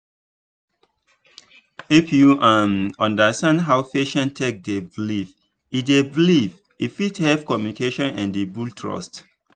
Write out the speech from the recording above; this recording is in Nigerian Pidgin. if you um understand how patient take dey believe e dey believe e fit help communication and build trust.